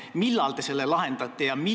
Ja millal te selle lahendate?